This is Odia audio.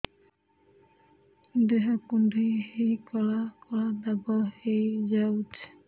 ଦେହ କୁଣ୍ଡେଇ ହେଇ କଳା କଳା ଦାଗ ହେଇଯାଉଛି